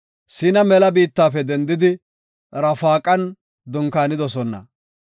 Siina mela biittafe dendidi Rafaqan dunkaanidosona.